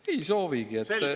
Ei soovigi.